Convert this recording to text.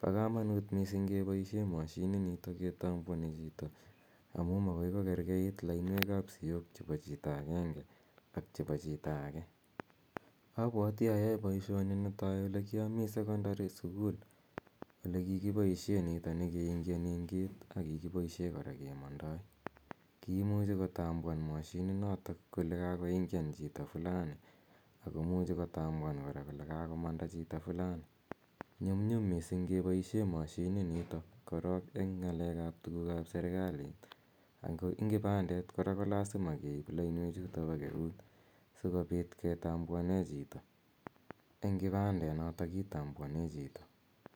Pa kamanuut missing' kepaishe mashininitok ketambuani chito amu makoi kokerkeit lainweek ap siok chepo chito agenge ak chepo chito age. Apwati ayae poishoni netai ole kiami sekondari sukul ole kikipaishe nitani keingigate eng' gate ako kikipaishe kora kemandai. Kiimuchi kotambuan mashininotok kole kakoingian chito fulani ako muchi kotambuan kora kole kakomanda chito fulani. Nyumnyum misding' kepaishe mashininitok korok eng' ng'aleek ap tuguuk ap serikalit. Ako ing kipandet kora kolasima keip lainwechutok po euut si kopit ketambuane chito , eng' kipandenotok kitambuane chito.